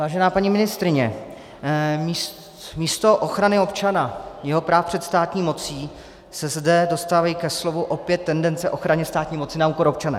Vážená paní ministryně, místo ochrany občana, jeho práv před státní mocí se zde dostávají ke slovu opět tendence ochrany státní moci na úkor občana.